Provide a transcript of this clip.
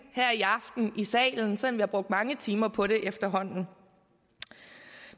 her i aften i salen selv om vi har brugt mange timer på det efterhånden